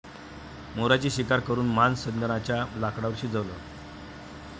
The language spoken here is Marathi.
मोराची शिकार करून मांस चंदनाच्या लाकडांवर शिजवलं